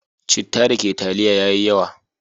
Citta da ke taliya ya yi yawa.